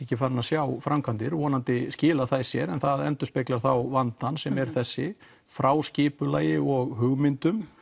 ekki farin að sjá framkvæmdir og vonandi skila þær sér það endurspeglar þá vandann sem er þessi frá skipulagi og hugmyndum